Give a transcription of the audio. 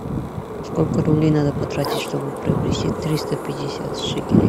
сколько рублей надо потратить чтобы приобрести триста пятьдесят шекелей